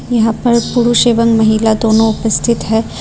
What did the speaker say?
यहां पर पुरुष एवं महिला दोनों उपस्थित है।